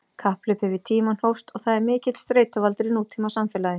Kapphlaupið við tímann hófst og er það mikill streituvaldur í nútímasamfélagi.